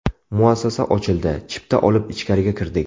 Muassasa ochildi, chipta olib ichkariga kirdik.